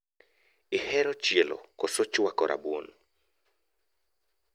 Ihero chielo koso chwako rabuon?